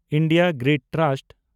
India grid trust